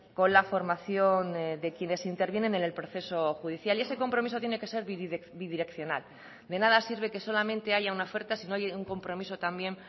con la formación de quienes intervienen en el proceso judicial y ese compromiso tiene que ser bidireccional de nada sirve que solamente haya una oferta si no hay un compromiso también